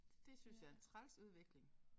Det synes jeg er en træls udvikling